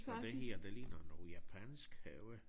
Og det her det ligner noget japansk have